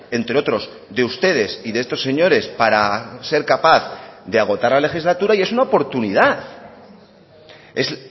entre otros de ustedes y de estos señores para ser capaz de agotar la legislatura y es una oportunidad es